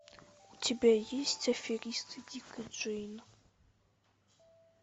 у тебя есть аферисты дик и джейн